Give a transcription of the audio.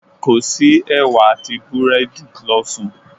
Kò sí ẹ̀wà àti búrẹ́dì, lọ sùn.